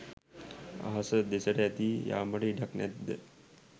අහස දෙසට ඇදී යාමට ඉඩක් නැද්ද?